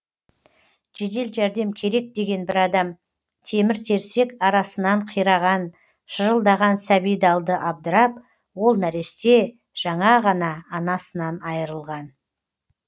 жедел жәрдем керек деген бір адам темір терсек арасынан қираған шырылдаған сәбиді алды абдырап ол нәресте жаңа ғана анасынан айрылған